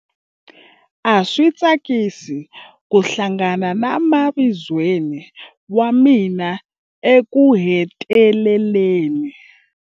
A swi tsakisa ku hlangana na mavizweni wa mina ekuheteleleni.